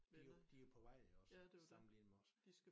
De jo de jo på vej iggås sammenlignet med os